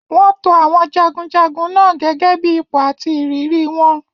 Wọ́n to àwọn jagunjagun náà gẹ́gẹ́ bí ipò àti ìrírí wọn.